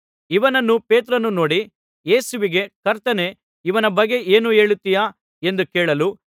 ಇವನನ್ನು ಪೇತ್ರನು ನೋಡಿ ಯೇಸುವಿಗೆ ಕರ್ತನೇ ಇವನ ಬಗ್ಗೆ ಏನು ಹೇಳುತ್ತೀಯಾ ಎಂದು ಕೇಳಲು